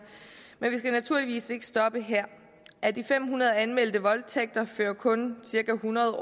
men vi skal naturligvis ikke stoppe her af de fem hundrede årligt anmeldte voldtægter fører kun cirka hundrede